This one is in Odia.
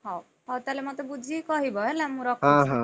ହଉ, ତାହେଲେ ମତେ ବୁଝିକି କହିବ ହେଲା ମୁଁ ରଖୁଛି।